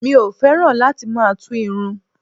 Mi ò fẹ́ràn láti máa tú irun